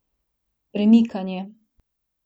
Premikanje.